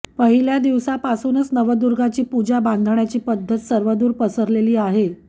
पहिल्या दिवसापासूनच नवदुर्गाची पूजा बांधण्याची पद्धत सर्वदूर पसरलेली आहे